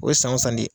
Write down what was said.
O ye san o san de